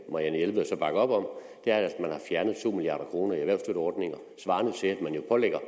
marianne jelved så bakker op om er at man har fjernet to milliard kroner i erhvervsstøtteordninger svarende til at man pålægger